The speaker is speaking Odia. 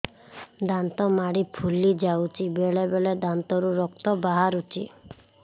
ଦାନ୍ତ ମାଢ଼ି ଫୁଲି ଯାଉଛି ବେଳେବେଳେ ଦାନ୍ତରୁ ରକ୍ତ ବାହାରୁଛି